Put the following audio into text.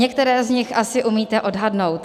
Některé z nich asi umíte odhadnout.